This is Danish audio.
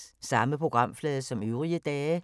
Samme programflade som øvrige dage